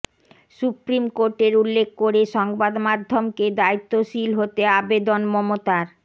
supreme কোর্টের উল্লেখ করে সংবাদমাধ্যমকে দায়িত্বশীল হতে আবেদন মমতার